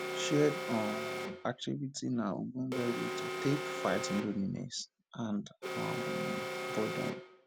shared um activity na ogbonge wey to take fight loneliness and um boredom